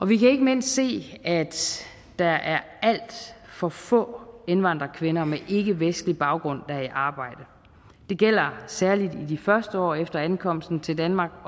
vi kan ikke mindst se at der er alt for få indvandrerkvinder med ikkevestlig baggrund der er i arbejde det gælder særlig de første år efter ankomsten til danmark